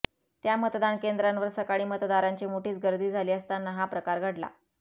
त्या मतदान केंद्रावर सकाळी मतदारांची मोठीच गर्दी झाली असताना हा प्रकार घडला